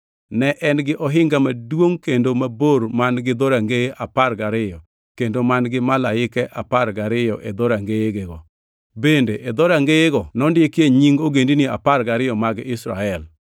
Ne en gi ohinga maduongʼ kendo mabor man-gi dhorangeye apar gariyo kendo man-gi malaike apar gariyo e dhorangeyego. Bende e dhorangeyego nondikie nying ogendini apar gariyo mag Israel.